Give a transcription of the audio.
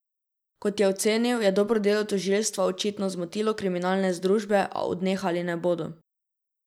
Kot je ocenil, je dobro delo tožilstva očitno zmotilo kriminalne združbe, a odnehali ne bodo.